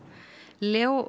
Leo